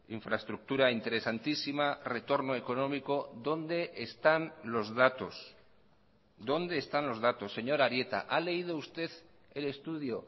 infraestructura interesantísima retorno económico dónde están los datos dónde están los datos señor arieta ha leído usted el estudio